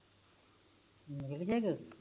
ਮਿਲ ਗਿਆ